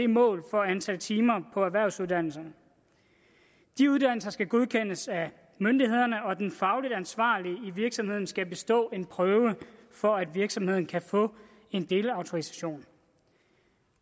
målet for antal timer på erhvervsuddannelserne de uddannelser skal godkendes af myndighederne og den fagligt ansvarlige i virksomheden skal bestå en prøve for at virksomheden kan få en delautorisation